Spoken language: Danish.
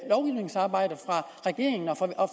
regeringen